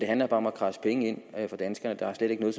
handler bare om at kradse penge ind fra danskerne der er slet ikke noget